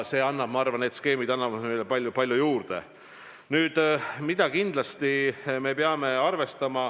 See annab meile palju juurde.